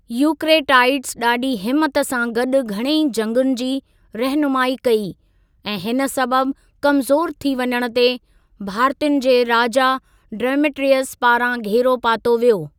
Eucratides डा॒ढी हिम्मत सां गॾु घणेई जंगुनि जी रहिनुमाई कई, ऐं हिन सबबि कमज़ोर थी वञणु ते, भारतीयुनि जे राजा॒ डेमेट्रियस पारां घेरो पातो वियो।